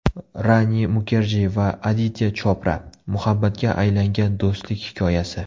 Rani Mukerji va Aditya Chopra: Muhabbatga aylangan do‘stlik hikoyasi.